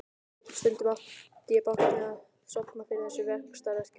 Stundum átti ég bágt með að sofna fyrir þessum vaxtarverkjum.